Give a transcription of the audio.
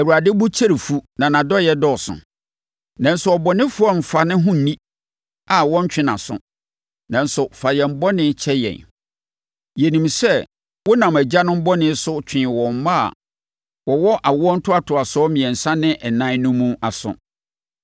‘ Awurade bo kyɛre fu na nʼadɔeɛ dɔɔso. Nanso ɔbɔnefoɔ remfa ne ho nni a wɔntwe nʼaso; nanso, fa yɛn bɔne kyɛ yɛn. Yɛnim sɛ wonam agyanom bɔne so twee wɔn mma a wɔwɔ awoɔ ntoatoasoɔ mmiɛnsa ne nan mu no aso.’